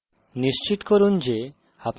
terminal যাই